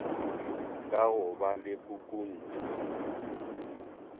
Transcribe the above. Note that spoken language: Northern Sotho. ka go ba le pukuntšu